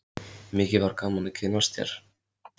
Mikið var gaman að kynnast þér.